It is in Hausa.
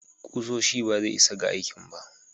Kusoshi ba zai isa ga aikin ba.